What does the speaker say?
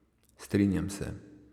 Strinjam se.